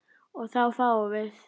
og þá fáum við